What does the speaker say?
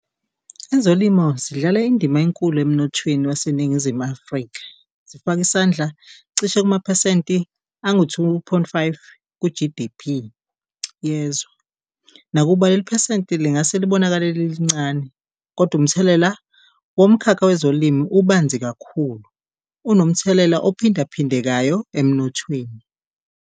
Ezolimo zidlala indima enkulu emnothweni waseNingizimu Afrika, zifaka isandla cishe kumaphesenti angu-two point five ku-G D_P yezwe. Nakuba leli phesenti lingase libonakale lilincane kodwa umthelela womkhakha wezolimo ubanzi kakhulu, unomthelela ophinda phindekayo emnothweni.